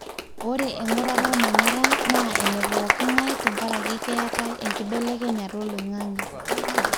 ore engurata olmanyara na ene pooki ngae tengaraki keetae enkibelekenyata oloingange